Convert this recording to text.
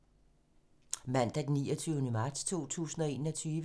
Mandag d. 29. marts 2021